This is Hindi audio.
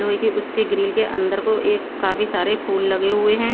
लोहे के उसके ग्रिल के अंदर को एक काफी सारे फूल लगे हुए हैं।